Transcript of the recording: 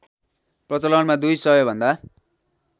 प्रचलनमा दुई सयभन्दा